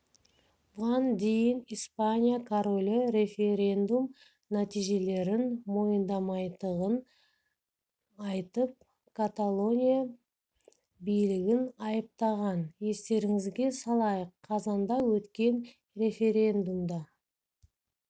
бұған дейін испания королі референдум нәтижелерін мойындамайтындығын айтып каталония билігін айыптаған естеріңізге салайық қазанда өткен референдумда